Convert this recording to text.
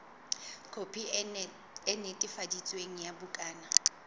khopi e netefaditsweng ya bukana